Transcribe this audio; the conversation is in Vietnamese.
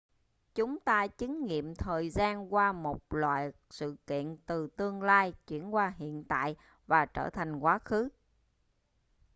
chúng ta chứng nghiệm thời gian qua một loạt sự kiện từ tương lai chuyển qua hiện tại và trở thành quá khứ